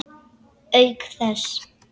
Auk þess.